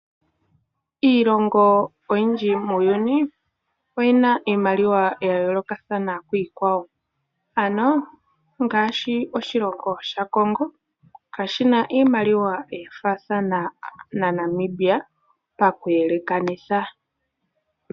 Iilongo oyinji muuyuni oyina iimaliwa ya yolokathana kwiikwawo ano ngaashi oshilongo sha Congo kashina iimaliwa yafathana naNamibia paku yelekanitha.